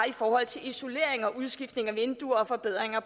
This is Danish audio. i forhold til isolering udskiftning af vinduer og forbedringer af